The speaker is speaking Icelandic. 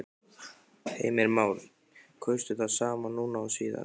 Heimir Már: Kaustu það sama núna og síðast?